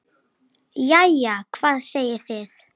Jæja, hvað segið þið?